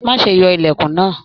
Má ṣe yọ ilẹkùn náà!